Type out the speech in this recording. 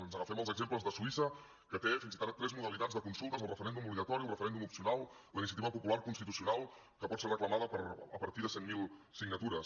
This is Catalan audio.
ens agafem als exemples de suïssa que té fins i tot tres modalitats de consultes el referèndum obligatori el referèndum opcional i la iniciativa popular constitucional que pot ser reclamada a partir de cent mil signatures